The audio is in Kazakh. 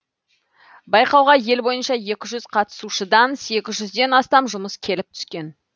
байқауға ел бойынша екі жүз қатысушыдан сегіз жүзден астам жұмыс келіп түскен